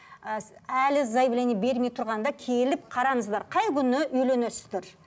ыыы әлі заявление бермей тұрғанда келіп қараңыздар қай күні үйленесіздер